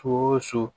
Fo su